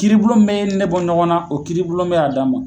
Kiribulon min bɛ e ni ne bɔ ɲɔgɔn na, o kiribu bɛ'a d'a ma.